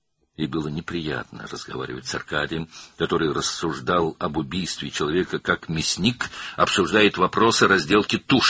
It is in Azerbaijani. Və Arkadi ilə danışmaq xoş deyildi, o, insan qətli haqqında sanki bir qəssab heyvan kəsimi məsələlərini müzakirə edirmiş kimi danışırdı.